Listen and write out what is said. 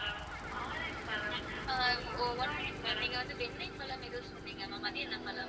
நீங்க வந்து வெண்ணைப்பழம் ஏதோ சொன்னீங்க ma'am அது என்ன பழம்?